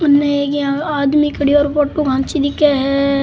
उनने एक इया आदमी खड़ो है फोटो खांची दिखे है।